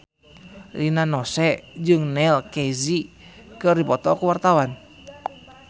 Rina Nose jeung Neil Casey keur dipoto ku wartawan